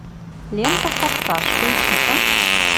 лента форсаж поищи ка